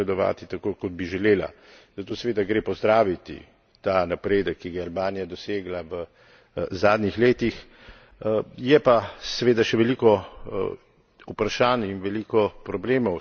Zato seveda gre pozdraviti ta napredek, ki ga je Albanija dosegla v zadnjih letih, je pa seveda še veliko vprašanj in veliko problemov, s katerimi se bo morala spopasti.